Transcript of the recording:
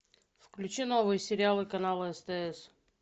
включи новые сериалы канала стс